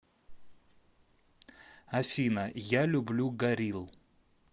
афина я люблю горилл